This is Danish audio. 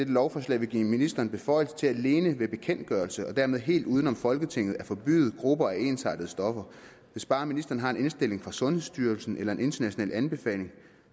lovforslag vil give ministeren beføjelse til alene ved bekendtgørelse og dermed helt uden om folketinget at forbyde grupper af ensartede stoffer hvis bare ministeren har en indstilling fra sundhedsstyrelsen eller en international anbefaling